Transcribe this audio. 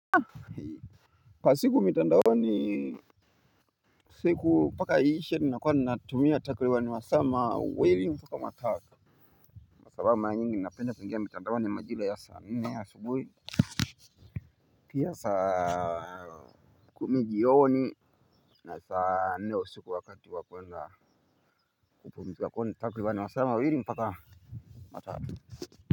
Kwa siku mitandaoni siku mpaka iishe ninakuwa ninatumia takriban masaa mawili mpaka matatu. Kwa sababu mara nyingi napenda kuingia mtandaoni majira ya saa nne asubuhi. Pia saa kumi joni na saa nne usiku wakati wa kuenda kupumzika kwa hivyo ni takriban masaa mawili mpaka matatu.